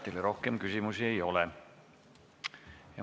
Teile rohkem küsimusi ei ole.